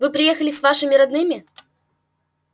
вы приехали с вашими родными